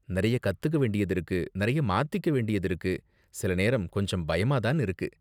நிறைய கத்துக்க வேண்டியது இருக்கு, நிறைய மாத்திக்க வேண்டியது இருக்கு, சில நேரம் கொஞ்சம் பயமா தான் இருக்கு.